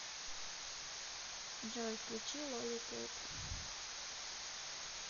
джой включи лолипоп